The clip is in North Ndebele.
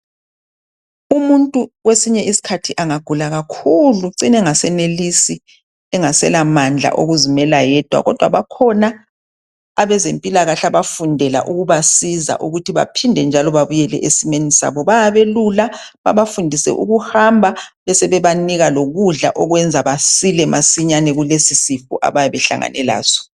Umuntu kwesinye isikhathi angagula kakhulu ucina engasenelisi engasela mandla okuzimela yedwa kodwa bakhona abezempilakahle abafundela ukubasiza ukuba baphinde njalo babuyele esimeni sabo bayabelula babafundise ukuhamba besebebanika lokudla okwenza basile masinyane kulesisifo abayabe behlangane laso.